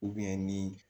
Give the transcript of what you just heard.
ni